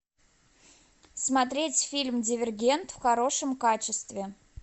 смотреть фильм дивергент в хорошем качестве